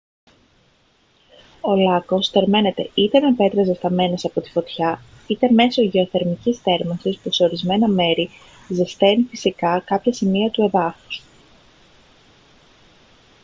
ο λάκκος θερμαίνεται είτε με πέτρες ζεσταμένες από τη φωτιά είτε μέσω γεωθερμικής θέρμανσης που σε ορισμένα μέρη ζεσταίνει φυσικά κάποια σημεία του εδάφους